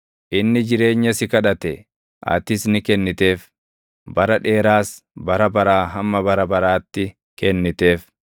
Inni jireenya si kadhate; atis ni kenniteef; bara dheeraas bara baraa hamma bara baraatti kenniteef.